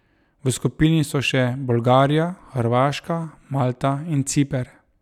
V skupini so še Bolgarija, Hrvaška, Malta in Ciper.